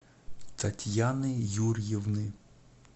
татьяны юрьевны